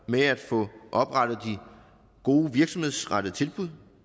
med at få oprettet de gode virksomhedsrettede tilbud